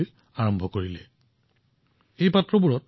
গ্ৰীষ্মকালত তেওঁ পশু আৰু চৰাইৰ এই সমস্যা দেখি বিচলিত হৈছিল